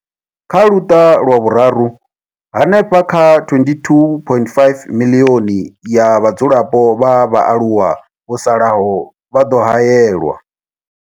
Kha Luṱa lwa Vhuraru, hanefha kha 22.5 miḽioni ya vhadzulapo vha vhaaluwa vho salaho vha ḓo haelwa.